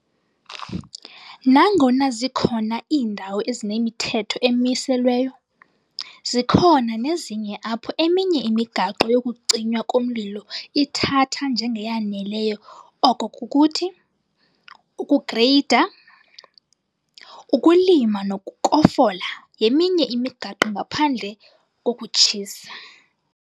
Nangona zikhona iindawo ezinemithetho emiselweyo, zikhona nezinye apho eminye imigaqo yokucinywa komlilo ithatha njengeyaneleyo oko kukuthi, ukugreyida, ukulima nokukofola yeminye imigaqo ngaphandle kokutshisa.